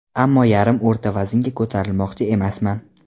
Ammo yarim o‘rta vaznga ko‘tarilmoqchi emasman.